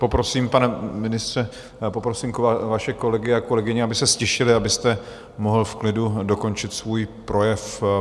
Poprosím, pane ministře, poprosím vaše kolegy a kolegyně, aby se ztišili, abyste mohl v klidu dokončit svůj projev.